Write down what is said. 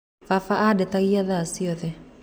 Baba andetagia thaa ciothe.